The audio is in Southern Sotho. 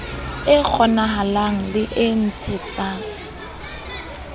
e kgonahalang le e ntshetsang